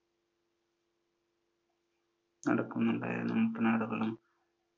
നടക്കുന്നുണ്ടായിരുന്നു, മുട്ടനാടുകളും